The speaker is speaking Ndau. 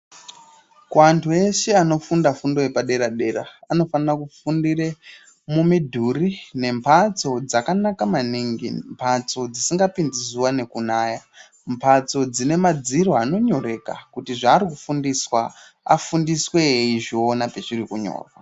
Kuantu eshe anofunda fundo yepadera-dera anofanira kufundire mumidhuri nembatso dzakanaka maningi, mbatso dzisingapinzi zuwa nekunaya, mbatso dzine madziro anonyoreka kuti zvaari kufundiswa afundiswe eizviona pezviri kunyorwa.